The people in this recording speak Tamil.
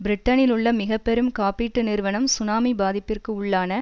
பிரிட்டனிலுள்ள மிக பெரும் காப்பீட்டு நிறுவனம் சுனாமி பாதிப்பிற்கு உள்ளான